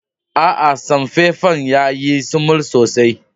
Aa, samfefan ya yi sumul sosai.